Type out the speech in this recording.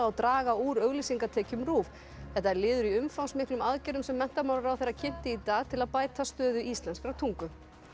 draga úr auglýsingatekjum RÚV þetta er liður í umfangsmiklum aðgerðum sem menntamálaráðherra kynnti í dag til að bæta stöðu íslenskrar tungu